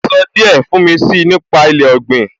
Ẹ sọ díẹ̀ fún mi si nípa ilé ọ̀gbìn?